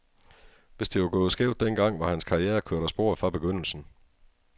Hvis det var gået skævt den gang, var hans karriere kørt af sporet fra begyndelsen.